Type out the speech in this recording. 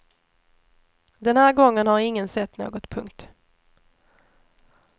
Den här gången har ingen sett något. punkt